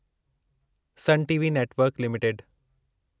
sun TV network limited